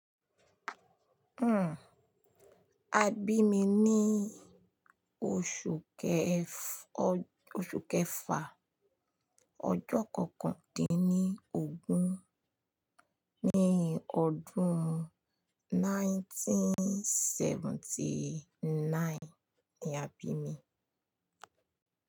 Hmm, a bí mi ní oṣù kẹf-- oṣù kẹfà, ọjọ́ kọkàn dín ní ogún, ní ọdún 1979 ni a bí mi.